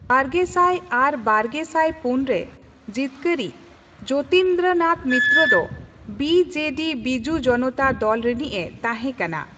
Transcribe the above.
ᱵᱟᱨᱜᱮᱥᱟᱭ ᱟᱨ ᱵᱟᱨᱜᱮᱥᱟᱭ ᱯᱩᱱ ᱨᱮ ᱡᱤᱛᱠᱟᱹᱨᱤᱡ ᱡᱳᱛᱤᱱᱫᱨᱟᱱᱟᱛᱷ ᱢᱤᱛᱨᱚ ᱫᱚ ᱵᱤ.ᱡᱮ.ᱰᱤ ᱵᱤᱡᱩ ᱡᱚᱱᱚᱛᱟ ᱫᱚᱞ ᱨᱤᱱᱤᱡᱼᱮ ᱛᱟᱸᱦᱮ ᱠᱟᱱᱟ ᱾